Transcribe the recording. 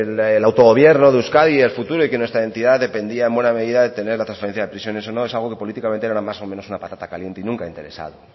el autogobierno de euskadi y el futuro de que nuestra entidad dependía en buena medida de tener la transferencia de prisiones o no es algo que políticamente era más o menos una patata caliente y nunca ha interesado